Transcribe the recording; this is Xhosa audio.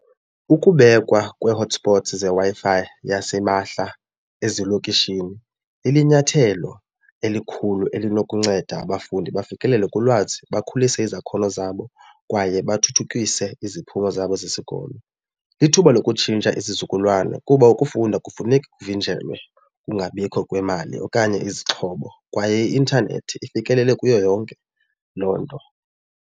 Ukubekwa kwee-hotspots zeWi-Fi yasimahla ezilokishini ilinyathelo elikhulu elinokunceda abafundi bafikelele kulwazi bakhulise izakhono zabo kwaye bathuthukise iziphumo zabo zesikolo. Lithuba lokutshintsha izizukulwana kuba ukufunda akufuneki kuvinjelwe kungabikho kwemali okanye izixhobo kwaye i-intanethi ifikelele kuyo yonke loo nto.